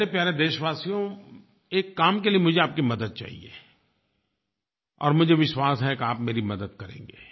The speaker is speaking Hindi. मेरे प्यारे देशवासियो एक काम के लिये मुझे आपकी मदद चाहिए और मुझे विश्वास है कि आप मेरी मदद करेंगे